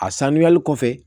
A sanuyali kɔfɛ